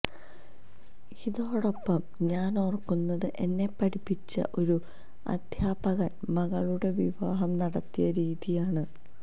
ഇതോടൊപ്പം ഞാനോർക്കുന്നത് എന്നെ പഠിപ്പിച്ച ഒരു അദ്ധ്യാപകൻ മകളുടെ വിവാഹം നടത്തിയ രീതിയാണ്